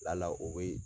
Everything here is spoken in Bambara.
Lala o bɛ